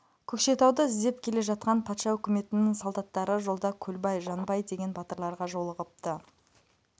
көкшетауды іздеп келе жатқан патша өкіметінің солдаттары жолда көлбай жанбай деген батырларға жолығыпты